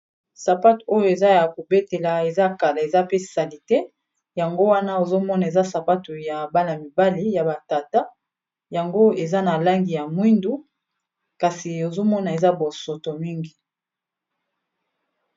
sapatu oyo eza ya kobetela eza kala eza pe salite yango wana ozomona eza sapato ya bala-mibale ya ba tata yango eza na langi ya mwindu kasi ozomona eza bosoto mingi.